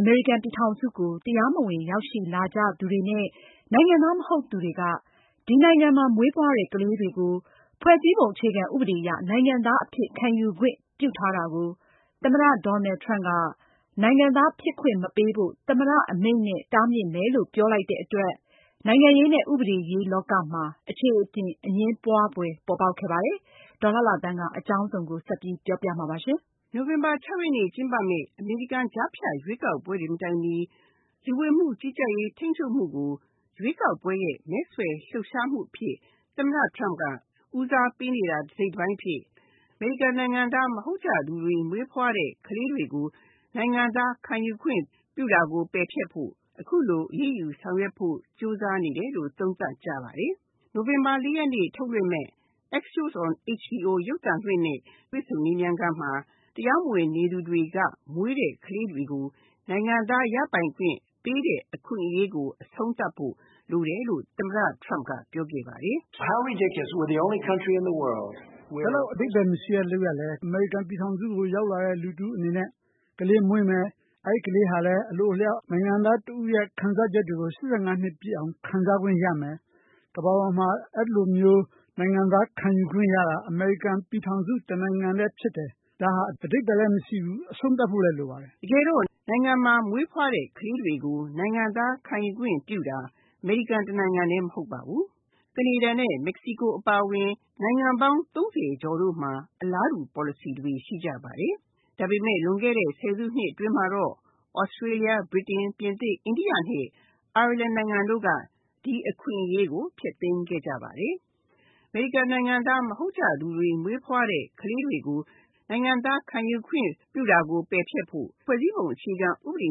အမေရိကန်ပြည်ထောင်စုကို တရားမဝင်ရောက်ရှိလာကြသူတွေနဲ့ နိုင်ငံသား မဟုတ်သူတွေက ဒီနိုင်ငံမှာ မွေးဖွားတဲ့ ကလေးတွေကို ဖွဲ့စည်းပုံအခြေခံဥပဒေအရ နိုင်ငံသားအဖြစ် ခံယူခွင့် ပြုထားတာကို သမ္မတ Donald Trump က နိုင်ငံသားဖြစ်ခွင့်မပေးဖို့ သမ္မတအမိန့်အရ တားမြစ်မယ် လို့ပြောလိုက်တဲ့အတွက် နိုင်ငံရေးနဲ့ ဥပဒေရေးလောကမှာ အခြေအတင် အငြင်းပွားဖွယ်ပေါ်ပေါက်ခဲ့ပါတယ်။ အကြောင်းစုံကို ဒေါ်လှလှသန်းက ပြောပြမှာပါ။ နိုဝင်ဘာ၆ ရက်နေ့ကျင်းပမယ့် အမေရိကန်ကြားဖြတ်ရွေးကောက်ပွဲတွေမတိုင်မီ လူဝင်မှုကြီးကြပ်ရေးကို ရွေးကောက်ပွဲရဲ့ မဲဆွယ်စည်းရုံးလှုပ်ရှားမှုအဖြစ် သမ္မတ Donald Trump က ဦးစားပေးနေတာ တစိတ်တပိုင်းအဖြစ် အမေရိကန်နိုင်ငံသားမဟုတ်ကြသူတွေ မွေးဖွားတဲ့ကလေးတွေကို နိုင်ငံသားခံယူခွင့်ပြုတာကို ပယ်ဖျက်ဖို့ အခုလိုအရေးယူဆောင်ရွက်ဖို့ကြိုးစားနေတယ်လို့ သုံးသပ်ကြပါတယ်။ နိုဝင်ဘာ ၄ ရက်နေ့ ထုတ်လွှင့်မယ့် Axios on HBO ရုပ်သံလွှင့်နဲ့ တွေ့ဆုံမေးမြန်းခန်းမှာ တရားမဝင်နေသူတွေက မွေးတဲ့ကလေးတွေကို နိုင်ငံသားရပိုင်ခွင့်ပေးတဲ့အခွင့်အရေးကို အဆုံးသတ်ဖို့ လိုတယ်လို့ သမ္မတ Donald Trumpပြောခဲ့ပါတယ်။ " အဲလောက်အဓိပ္ပါယ်မရှိတဲ့လုပ်ရပ်လဲ၊ အမေရိကန်ပြည်ထောင်စုကိုရောက်လာတဲ့သူတွေအနေနဲ့ ကလေးမွေးမယ် အဲဒီကလေးကလည်း အလိုအလျောက် နိုင်ငံသားတဦးအဖြစ်ခံစားချက်တွေကို ၈၅ နှစ်ပြည့်အောင်ခံစားခွင့်ရမယ်။ ကမ္ဘာပေါ်မှာ အဲလို နိုင်ငံသားခံယူခွင့်ရတာ အမေရိကန်ပြည်ထောင်စုတနိုင်ငံတည်းဖြစ်တယ်။ ဒါဟာ အဓိပ္ပါယ်မရှိဘူး အဆုံးသတ်ဖို့လိုပါတယ်။" တကယ်တော့ နိုင်ငံမှာ မွေးဖွားတဲ့ကလေးတွေကို နိုင်ငံသားခံယူခွင့်ရတာ အမေရိကန်တနိုင်ငံတည်းမဟုတ်ပါဘူး။ ကနေဒါနဲ့ မက္ကစီကိုအပါအဝင် နိုင်ငံပေါင်း ၃၀ ကျော်တို့မှာ အလားတူပေါ်လစီတွေရှိပါတယ်။ ဒါပေမယ့် လွန်ခဲ့တဲ့ ၁၀ စုနှစ်အတွင်းမှာတော့ သြစတေးလျ၊ ဗြိတိန်၊ ပြင်သစ် ၊ အိန္ဒိယနဲ့ အိုင်ယာလန်နိုင်ငံတို့က ဒီအခွင့်အရေးကို ဖျက်သိမ်းခဲ့ကြပါတယ်။ အမေရိကန်နိုင်ငံသားမဟုတ်ကြသူတွေ မွေးဖွားတဲ့ကလေးတွေကို နိုင်ငံသားခံယူခွင့်ပယ်ဖျက်ဖို့ ဖွဲ့စည်းပုံအခြေခံဥပဒေ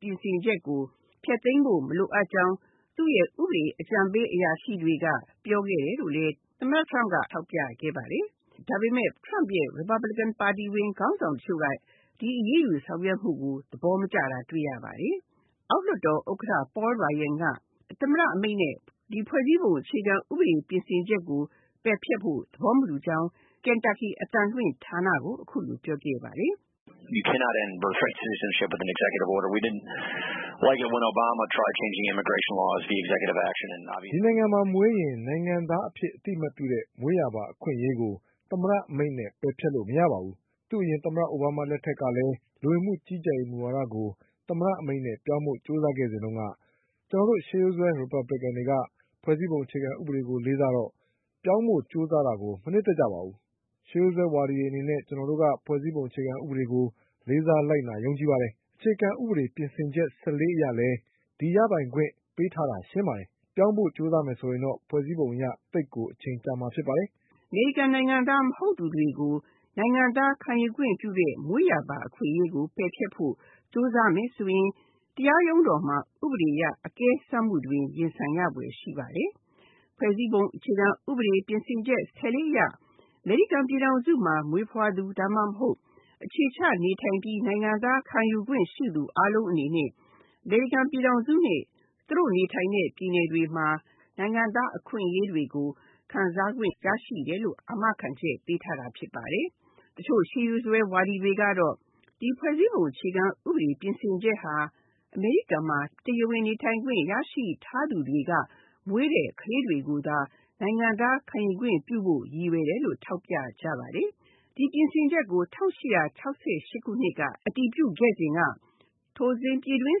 ပြင်ဆင်ချက်ကို ဖျက်သိမ်းဖို့မလိုကြောင်း သူ့ဥပဒေအကြံပေးအရာရှိတွေက ပြောခဲ့တယ်လို့လည်း သမ္မတ Donald Trump ကထောက်ပြခဲ့ပါတယ်။ ဒါပေမယ့် Republican ပါတီဝင်ခေါင်းဆောင်တချို့က ဒီအရေးယူဆောင်ရွက်မှုကို သဘောမကျတာ တွေ့ရပါတယ်။ အောက်လွှတ်တော်ဥက္ကဋ္ဌ Paul Ryan သမ္မတအမိန့်နဲ့ ဖွဲ့စည်းပုံအခြေခံဥပဒေပြင်ဆင်ချက်ကို ပယ်ဖျက်ဖို့သဘောမတူကြောင်း Kantaki အသံလွှင့်ဌာနကို အခုလိုပြောခဲ့ပါတယ်။ "ဒီနိုင်ငံမှာမွေးရင် နိုင်ငံသားအဖြစ်အသိအမှတ်ပြုတဲ့ မွေးရာပါအခွင့်အရေးကို သမ္မတအမိန့်နဲ့ ပယ်ဖျက်လို့မရပါဘူး။ သူ့အရင် သမ္မတ အိုဘားမားလက်ထက်ကလည်း လူဝင်မှုကြီးကြပ်ရေးမူဝါဒကို သမ္မတအမိန့်နဲ့ ပြောင်းဖို့ ကြိုးစားခဲ့တုန်းက ကျနော်တို့ ရှေးရိုးစွဲ Republican တွေက ဖွဲ့စည်းပုံအခြေခံဥပဒေကိုလေးစားတော့ ပြောင်းဖို့လေးစားတာကို မနှစ်သက်ပါဘူး။ ရှေးရိုးစွဲဝါဒီအနေနဲ့ ဖွဲ့စည်းပုံအခြေခံဥပဒေကိုလေးစား လိုက်နာယုံကြည်ပါတယ်။ အခြေခံဥပဒေ ပြင်ဆင်ချက် ၁၄ အရလည်း ဒီရပိုင်ခွင့်ပေးထားတာ ရှင်းပါတယ်။ ပြောင်းဖို့ကြိုးစားရင်တော့ ဖွဲ့စည်းပုံအရ အချိန်ကြာမှာဖြစ်ပါတယ်။" အမေရိကန်နိုင်ငံသား မဟုတ်သူတွေကို နိုင်ငံသားခံယူခွင့်ပြုတဲ့ မွေးရာပါအခွင့်အရေးကို ပယ်ဖျက်ဖို့ ကြိုးစားမယ်ဆိုရင် တရားရုံးတော်မှာ ဥပဒေအရ အကဲစမ်းမှုတွေရင်ဆိုင်ရဖွယ်ရှိပါတယ်။ ဖွဲ့စည်းပုံအခြေခံဥပဒေ ပြင်ဆင်ချက် ၁၄ အရ အမေရိကန်မှာမွေးဖွားသူ ဒါမှမဟုတ် အခြေချနေထိုင်ပြီး နိုင်ငံသားခံယူခွင့်ရှိသူအားလုံးအနေနဲ့ အမေရိကန်ပြည်ထောင်စုနဲ့ သူတို့နေထိုင်တဲ့ပြည်နယ်တွေမှာ နိုင်ငံသားအခွင့်အရေးတွေကို ရရှိတယ်လို့ အာမခံချက်ပေးထားတာဖြစ်ပါတယ်။ တချို့ ရှေးရိုးစွဲဝါဒီတွေကတော့ ဖွဲ့စည်းပုံအခြေခံဥပဒေ ပြင်ဆင်ချက်ဟာ အမေရိကန်မှာ တရားဝင်နေထိုင်ခွင့်ရရှိထားသူတွေက မွေးတဲ့ကလေးတွေကိုသာ နိုင်ငံသားခံယူခွင့်ပြုဖို့ ရည်ရွယ်တယ်လို့ ထောက်ပြကြပါတယ်။ ဒီပြင်ဆင်ချက်ကို ၁၈၆၈ ခုနှစ်က အတည်ပြုခဲ့စဉ် ထိုစဉ် ပြည်တွင်း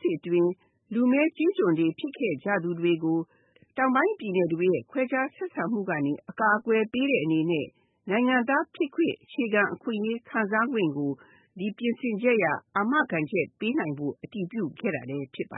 စစ်အတွင်း လူမည်းကျေးကျွန်တွေဖြစ်ခဲ့ကြသူတွေကို တောင်ပိုင်းပြည်နယ်တွေရဲ့ ခွဲခြားဆက်ဆံမှုကနေ အကာအကွယ်ပေးတဲ့အနေနဲ့ နိုင်ငံသားဖြစ်ခွင့် အခြေခံအခွင့်အရေးခံစားခွင့်ကို ဒီပြင်ဆင်ချက်အရ အာမခံချက်ပေးနိုင်ဖို့ အတည်ပြုခဲ့တာဖြစ်ပါ